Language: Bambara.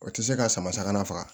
O tɛ se ka sama faga